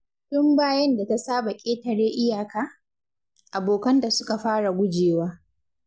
Tun bayan da ta saba ƙetare iyaka, abokanta suka fara gujewa.